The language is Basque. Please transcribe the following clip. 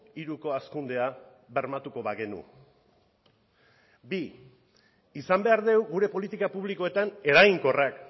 hiruko hazkundea bermatuko bagenu bi izan behar dugu gure politika publikoetan eraginkorrak